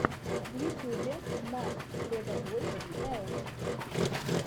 в ютюбе марк легобой элт